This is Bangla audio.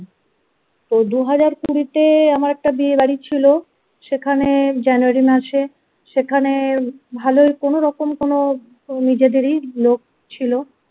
ও দুহাজার কুড়িতে আমার একটা বিয়ে বাড়ি ছিল সেখানে January মাসে সেখানে ভালোই কোনো রকম কোনো নিজেদেরই লোক ছিল ।